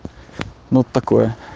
ну такое